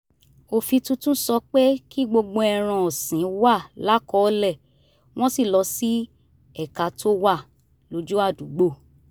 òfin tuntun sọ pé kí gbogbo ẹran ọ̀sìn wà lákọ́ọ̀lẹ̀ wọ́n sì lọ sí ẹ̀ka tó wà lójú àdúgbò